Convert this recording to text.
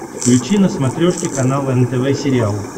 включи на смотрешке канал нтв сериал